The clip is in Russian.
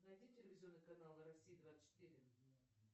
найди телевизионный канал россия двадцать четыре